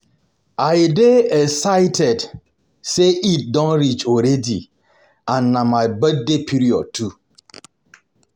I dey excited say Eid don reach already and na my birthday period too